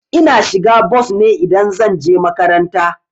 Ina shiga bos ne idan zan je makaranta.